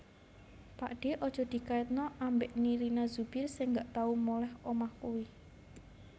Pakdhe aja dikaitno ambek Nirina Zubir sing gak tau moleh omah iku